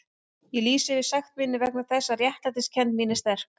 Ég lýsi yfir sekt minni vegna þess að réttlætiskennd mín er sterk.